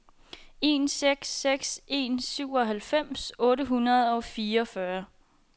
en seks seks en syvoghalvfems otte hundrede og fireogfyrre